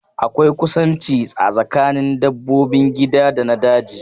Akwai kusanci a tsakanin dabbobin gida da na daji